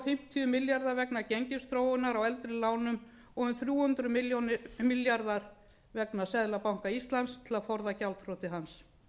fimmtíu milljarðar vegna gengisþróunar á eldri lánum og um þrjú hundruð milljarðar vegna seðlabanka íslands til að forða gjaldþroti hans